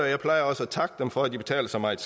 jeg plejer også at takke dem for at de betaler så meget